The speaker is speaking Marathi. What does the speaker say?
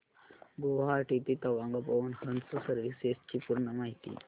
गुवाहाटी ते तवांग पवन हंस सर्विसेस ची पूर्ण माहिती